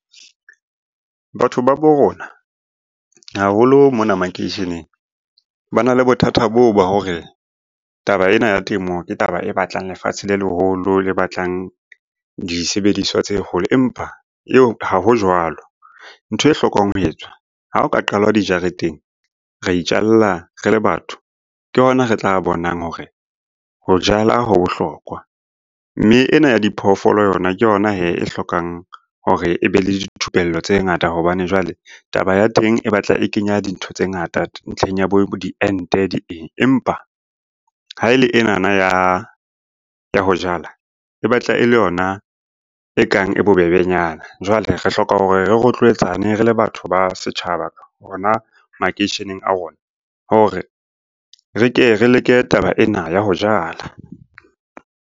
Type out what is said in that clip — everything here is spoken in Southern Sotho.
Batho ba bo rona haholo mona makeisheneng ba na le bothata boo ba hore, taba ena ya temo ke taba e batlang lefatshe le leholo le batlang disebediswa tse kgolo, empa eo ha ho jwalo. Ntho e hlokang ho etswa ha ho ka qalwa dijareteng, ra itjalla re le batho, ke hona re tla bonang hore ho jala ho bohlokwa. Mme ena ya diphoofolo yona ke yona hee e hlokang hore e be le dithupello tse ngata hobane jwale taba ya teng e batla e kenya dintho tse ngata ntlheng ya bo diente di eng, empa ha e le enana ya ho jala, e batla e le yona e kang e bobebenyana. Jwale re hloka hore re rotloetsane re le batho ba setjhaba hona makeisheneng a rona, hore re ke re leke taba ena ya ho jala.